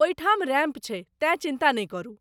ओहिठाम रैम्प छै, तेँ चिन्ता नहि करू।